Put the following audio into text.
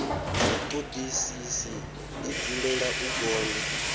vhutodisisi i dzulela u gonya